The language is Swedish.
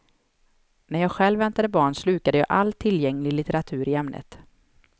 När jag själv väntade barn slukade jag all tillgänglig litteratur i ämnet.